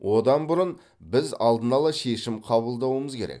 одан бұрын біз алдын ала шешім қабылдауымыз керек